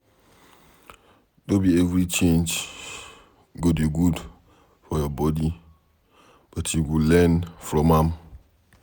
No be every change go dey good for your body but you go learn from am